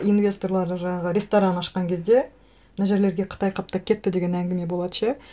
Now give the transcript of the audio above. инвесторлары жаңағы ресторан ашқан кезде мына жерлерге қытай қаптап кетті деген әңгіме болады ше